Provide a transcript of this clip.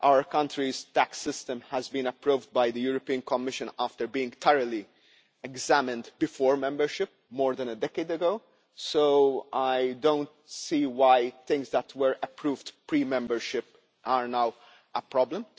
Our country's tax system was approved by the European Commission after being thoroughly examined before membership more than a decade ago, so I do not see why things that were approved pre-membership are now a problem.